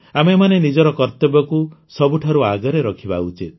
ଆମେମାନେ ନିଜର କର୍ତବ୍ୟକୁ ସବୁଠାରୁ ଆଗରେ ରଖିବା ଉଚିତ